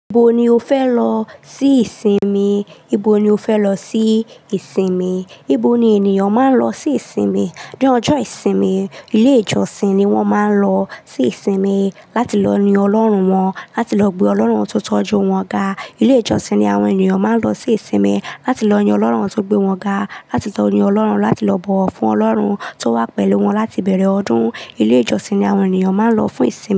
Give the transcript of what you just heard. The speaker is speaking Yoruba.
Ibo ni o fẹ lọ sí ìsinmi? Ibo ni o fẹ lọ sí ìsinmi? Ibo ni ènìyàn máa ń lọ sí ìsinmi? Ní ọjọ́ ìsinmi, ilé ìjọsìn ni wọ́n máa ń lọ sí ìsinmi láti lọ yin Ọlọ́run wọn, láti lọ gbé Ọlọ́run tó tọ́jú wọn ga. Ilé ìjọsìn ni àwọn ènìyàn máa ń lọ sí ìsinmi láti lọ yin Ọlọ́run won tó gbé wọn ga, láti tọ̀ni Ọlọ́run, láti lọ bọ̀wọ̀ fún Ọlọ́run tó wà pẹ̀lú wọn láti bẹ̀rẹ̀ ọdún. Ilé ìjọsìn ni àwọn ènìyàn máa ń lọ fún ìsinmi.